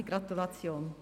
Herzliche Gratulation.